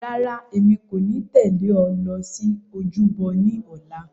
Rárá, èmi kò ní tẹ̀lé ọ lọ sí ojúbọ ní ọ̀la.